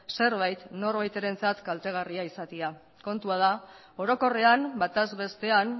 zerbait norbaitentzat kaltegarria izatea kontua da orokorrean bataz bestean